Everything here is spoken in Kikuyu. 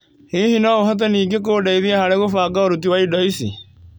Hihi, no ũhote ningĩ kũndeithia harĩ gũbanga ũruti wa indo ici?